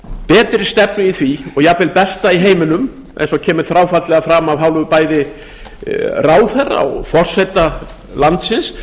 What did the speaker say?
betri stefnu í því og jafnvel besta í heiminum eins og kemur þráfaldlega fram af hálfu bæði ráðherra og forseta landsins